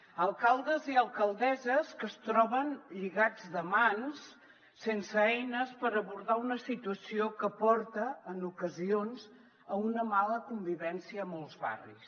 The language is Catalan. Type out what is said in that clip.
alcaldes i alcaldesses que es troben lligats de mans sense eines per abordar una situació que porta en ocasions a una mala convivència a molts barris